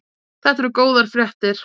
Þetta eru góðar fréttir